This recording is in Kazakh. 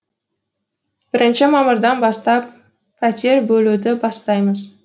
бірінші мамырдан бастап пәтер бөлуді бастаймыз